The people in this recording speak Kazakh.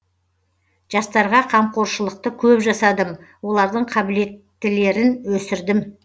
жастарға қамқоршылықты көп жасадым олардың қабілеттілерін өсірдім